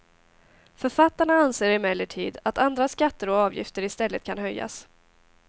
Författarna anser emellertid att andra skatter och avgifter i stället kan höjas.